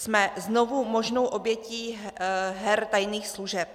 Jsme znovu možnou obětí her tajných služeb.